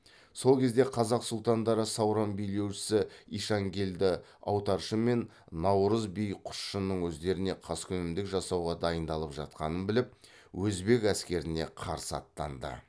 сол кезде қазақ сұлтандары сауран билеушісі ишанкелді аутаршы мен наурыз би құсшының өздеріне қаскүнемдік жасауға дайындалып жатқанын біліп өзбек әскеріне қарсы аттанды